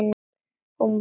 Hún var yndi.